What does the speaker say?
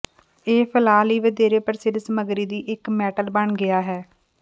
ਇਹ ਫੈਲਾਅ ਲਈ ਵਧੇਰੇ ਪ੍ਰਸਿੱਧ ਸਮੱਗਰੀ ਦੀ ਇੱਕ ਮੈਟਲ ਬਣ ਗਿਆ ਹੈ